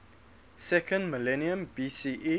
second millennium bce